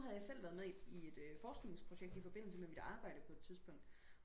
nu havde jeg selv været med i et forskningsprojekt i forbindelse med mit arbejde på et tidspunkt